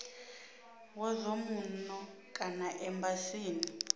wa zwa muno kana embasini